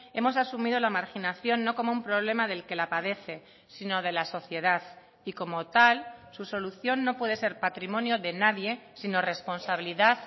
hemos asumido la marginación no como un problema del que la padece sino de la sociedad y como tal su solución no puede ser patrimonio de nadie sino responsabilidad